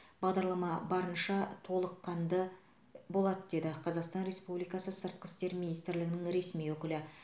бағдарлама барынша толыққанды болады деді қазақстан республикасы сыртқы істер министрінің ресми өкілі